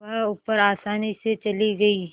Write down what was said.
वह ऊपर आसानी से चली गई